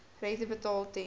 rente betaal ten